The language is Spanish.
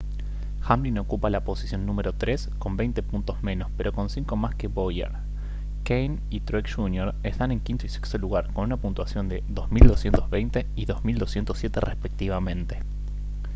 hamlin ocupa la posición número tres con veinte puntos menos pero con cinco más que bowyer kahne y truex jr están en quinto y sexto lugar con una puntuación de 2220 y 2207 respectivamente